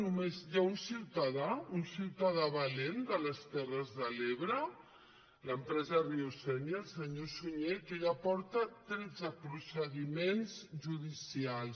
només hi ha un ciutadà un ciutadà valent de les terres de l’ebre l’empresa riu sénia el senyor sunyer que ja porta tretze procediments judicials